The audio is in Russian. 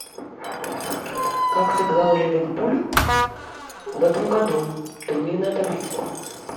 как сыграл ливерпуль в этом году турнирная таблица